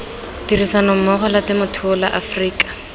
tirisanommogo la temothuo la aforika